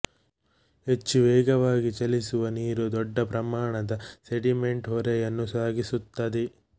ಹೆಚ್ಚು ವೇಗವಾಗಿ ಚಲಿಸುವ ನೀರು ದೊಡ್ಡ ಪ್ರಮಾಣದ ಸೆಡಿಮೆಂಟ್ ಹೊರೆಯನ್ನು ಸಾಗಿಸುತ್ತದೆ